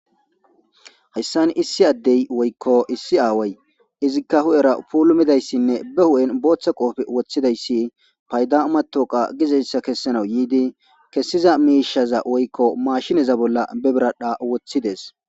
Hayisan issi addey woykko issi aaway izikka hudhera puulumidayssinne be hudhen booththa qoofe woththidayssi payda umatoqa gizeyssa kessanawu yiidi kessiza miishaza woykko maashineza bolla bebiradha woththides